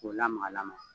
K'o lamaga lamaga